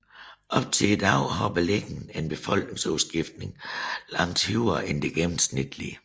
Op til i dag har Berlin en befolkningsudskiftning langt højere end det gennemsnitlige